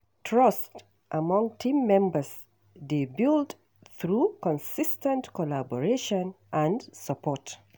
Trust among team members dey build through consis ten t collaboration and support.